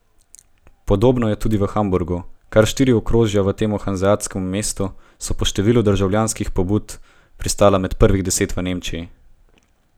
Podobno je tudi v Hamburgu, kar štiri okrožja v tem hanzeatskem mestu so po številu državljanskih pobud pristala med prvih deset v Nemčiji.